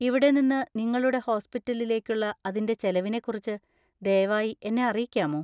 ഇവിടെ നിന്ന് നിങ്ങളുടെ ഹോസ്പിറ്റലിലേക്കുള്ള അതിന്‍റെ ചെലവിനെക്കുറിച്ച് ദയവായി എന്നെ അറിയിക്കാമോ?